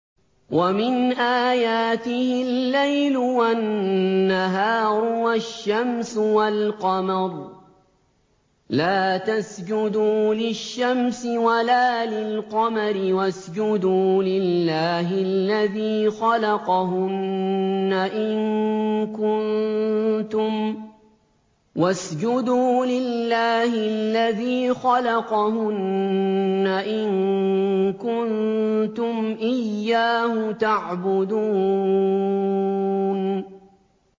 وَمِنْ آيَاتِهِ اللَّيْلُ وَالنَّهَارُ وَالشَّمْسُ وَالْقَمَرُ ۚ لَا تَسْجُدُوا لِلشَّمْسِ وَلَا لِلْقَمَرِ وَاسْجُدُوا لِلَّهِ الَّذِي خَلَقَهُنَّ إِن كُنتُمْ إِيَّاهُ تَعْبُدُونَ